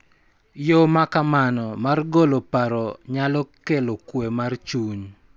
Yo ma kamano mar golo paro nyalo kelo kuwe mar chuny .